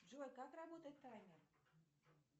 джой как работает таймер